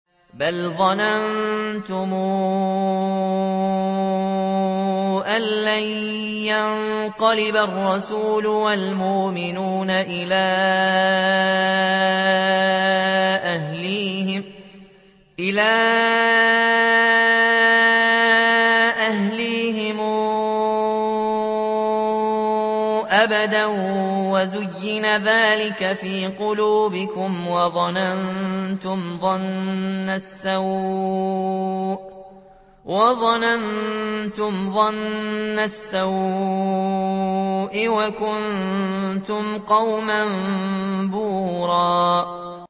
بَلْ ظَنَنتُمْ أَن لَّن يَنقَلِبَ الرَّسُولُ وَالْمُؤْمِنُونَ إِلَىٰ أَهْلِيهِمْ أَبَدًا وَزُيِّنَ ذَٰلِكَ فِي قُلُوبِكُمْ وَظَنَنتُمْ ظَنَّ السَّوْءِ وَكُنتُمْ قَوْمًا بُورًا